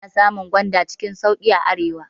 Ana samun gwanda cikin sauƙi a arewa.